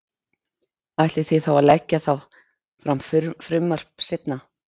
Ætlið þið þá að leggja þá fram frumvarp seinna?